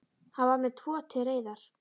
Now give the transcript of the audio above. Hann var með tvo til reiðar.